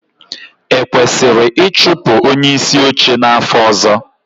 Ekwesịrị ịchụpụ onyeisi oche n'afọ ọzọ?